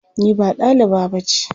Ni ba ɗaliba ba ce.